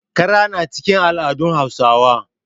Kara na cikin al'adun Hausawa.